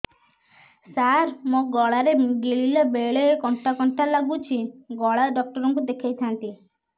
ସାର ମୋ ଗଳା ରେ ଗିଳିଲା ବେଲେ କଣ୍ଟା କଣ୍ଟା ଲାଗୁଛି ଗଳା ଡକ୍ଟର କୁ ଦେଖାଇ ଥାନ୍ତି